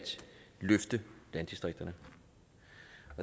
løfte landdistrikterne